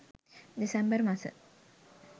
දෙසැම්බර් මස